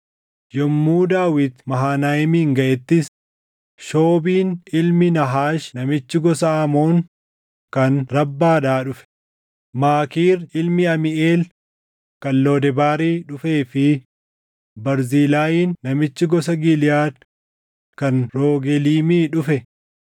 Yommuu Daawit Mahanayiim gaʼettis, Shoobiin ilmi Naahaash namichi gosa Amoon kan Rabbaadhaa dhufe, Maakiir ilmi Amiiʼeel kan Lodebaarii dhufee fi Barzilaayiin namichi gosa Giliʼaad kan Rogeliimii dhufe